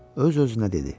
Öz-özünə dedi: